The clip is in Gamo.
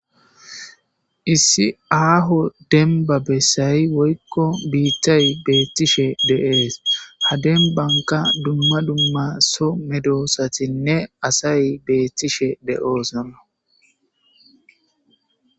Issi aho demba besay woyko bitay beetishe de'es. Ha dembanka dumma dumma so medosatinne asay betishe de'osona.